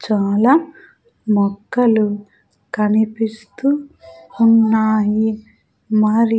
చాలా మొక్కలు కనిపిస్తూ ఉన్నాయి. మరి--